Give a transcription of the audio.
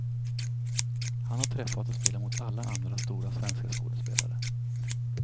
Han har träffat och spelat mot alla andra stora svenska skådespelare.